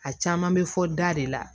A caman bɛ fɔ da de la